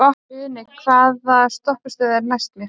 Uni, hvaða stoppistöð er næst mér?